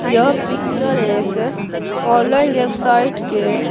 यह पिक्चर एक online website के--